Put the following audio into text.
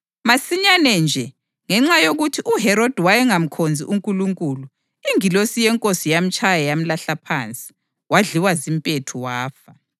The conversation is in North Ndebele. Masinyane nje, ngenxa yokuthi uHerodi wayengamkhonzi uNkulunkulu, ingilosi yeNkosi yamtshaya yamlahla phansi, wadliwa zimpethu wafa.